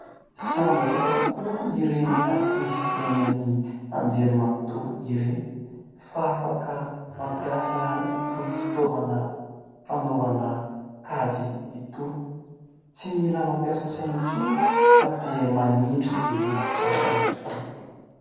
Sambatra tokoa ireny ankizy eny amin'ny anjery manontolo ireny fa afaka mampiasa itony fitaovana fanaovana kajy itony. Tsy mila mampiasa saina intsony fa dia manindry dia mivoaka ny valiny.